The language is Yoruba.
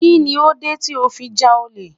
Kí ni ó dé tí ó fi ja olè?